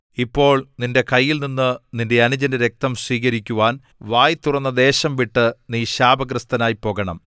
ഇപ്പോൾ നിന്റെ കൈയിൽനിന്ന് നിന്റെ അനുജന്റെ രക്തം സ്വീകരിക്കുവാൻ വായ് തുറന്ന ദേശംവിട്ട് നീ ശാപഗ്രസ്തനായി പോകണം